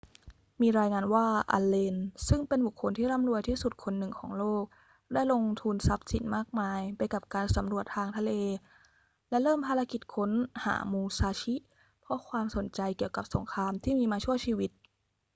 มีรายงานว่าอัลเลน ซึ่งเป็นบุคคลที่ร่ำรวยที่สุดคนหนึ่งของโลกได้ลงทุนทรัพย์สินมากมายไปกับการสำรวจทางทะเลและเริ่มภารกิจค้นหามูซาชิเพราะความสนใจเกี่ยวกับสงครามที่มีมาชั่วชีวิต